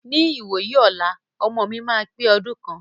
Ní ìwòyí ọlá, ọmọ mi máa pe ọdún kan.